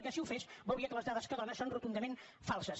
perquè si ho fes veuria que les dades que dóna són rotundament falses